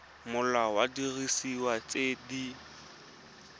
molao wa didiriswa tse di